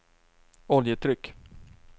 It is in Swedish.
oljetryck